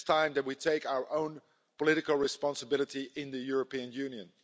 It is time that we took our own political responsibility in the European Union.